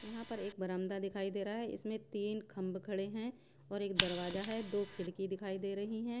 यहाँ पर एक बरामदा दिखाई दे रहा हैं इसमें तीन खंब खड़े हैं और एक दरवाजा हैं दो खिड़की दिखाई दे रही हैं।